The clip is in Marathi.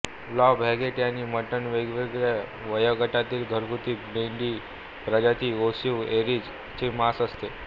लॅंब हॉगेट आणि मटण वेगवेगळ्या वयोगटातील घरगुती मेंढी प्रजाती ओवीस एरीज चे मांस आसते